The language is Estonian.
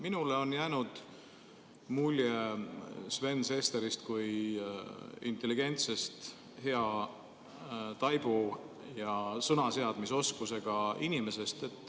Minule on jäänud mulje Sven Sesterist kui intelligentsest hea taibu ja sõnaseadmisoskusega inimesest.